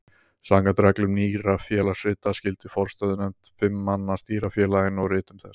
Samkvæmt reglum Nýrra félagsrita skyldi forstöðunefnd fimm manna stýra félaginu og ritum þess.